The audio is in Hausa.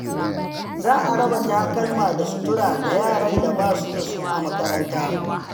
Za a raba takalma da sutura ga yaran da ba su da su a makaranta.